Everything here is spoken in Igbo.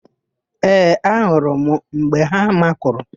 Ee, ahụrụ m mgbe ha makụrụ.